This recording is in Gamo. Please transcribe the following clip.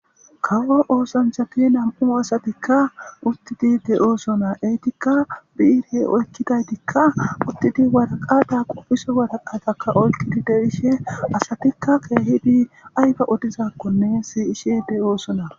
Kawo osanchati nam'u asatika utid de'osona ,etika oykidatika utidi waraqata qofiso waraqataka oykidi de'ishe asatika keehidi ayba odizanne siyshe de'osona,